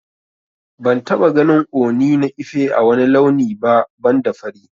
Ban taba ganin Ooni na Ife ã wani launi ba banda fari.